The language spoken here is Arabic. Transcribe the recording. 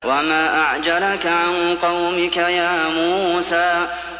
۞ وَمَا أَعْجَلَكَ عَن قَوْمِكَ يَا مُوسَىٰ